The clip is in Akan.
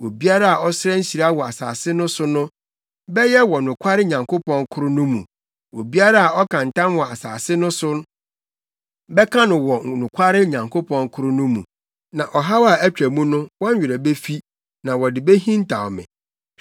Obiara a ɔsrɛ nhyira wɔ asase no so no, bɛyɛ wɔ nokware Nyankopɔn koro no mu; obiara a ɔka ntam wɔ asase no so bɛka no wɔ nokware Nyankopɔn koro no mu. Na ɔhaw a atwa mu no wɔn werɛ befi na wɔde behintaw me.